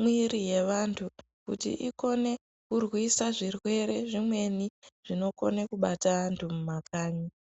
mwiri ye vantu kuti ikone kurwisa zvirwere zvimweni zvinokona kubata vantu mu makanyi.